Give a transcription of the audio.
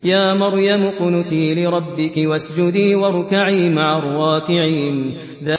يَا مَرْيَمُ اقْنُتِي لِرَبِّكِ وَاسْجُدِي وَارْكَعِي مَعَ الرَّاكِعِينَ